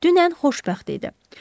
Dünən xoşbəxt idi.